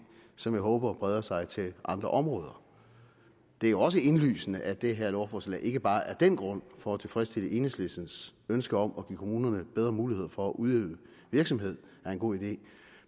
som jeg håber breder sig til andre områder det er også indlysende at det her lovforslag ikke bare af den grund for at tilfredsstille enhedslistens ønske om at give kommunerne bedre muligheder for at udøve virksomhed er en god idé